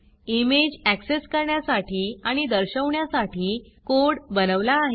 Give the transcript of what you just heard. image access करण्यासाठी आणि दर्शवण्यासाठी कोड बनवला आहे